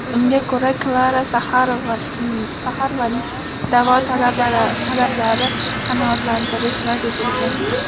Unga ko‘ra, Klara Saxarovaning da’vo talablarini qanoatlantirish rad etilgan.